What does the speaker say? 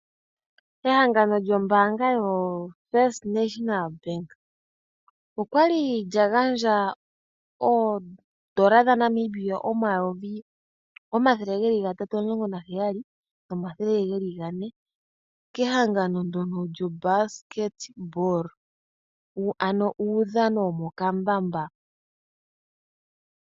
Ehangano lyombaanga yoFirst National Bank okwali lya gandja oondola dhaNamibia omayovi 317 400 kehangano lyuudhano womokambamba.